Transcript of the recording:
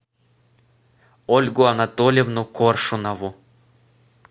ольгу анатольевну коршунову